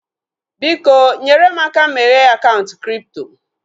Biko, nyere m aka meghee akaụntụ kripto